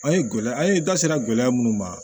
An ye gɛlɛya an ye da sera gɛlɛya minnu ma